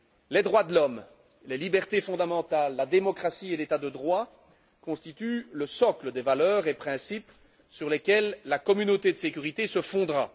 Les droits de l'homme, les libertés fondamentales, la démocratie et l'état de droit constituent le socle des valeurs et principes sur lesquels la communauté de sécurité se fondera.